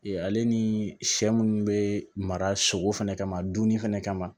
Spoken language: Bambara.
Ee ale ni sɛ munnu be mara sogo fɛnɛ kama dunni fɛnɛ kama